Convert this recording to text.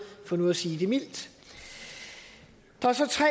for nu at sige det mildt der er så tre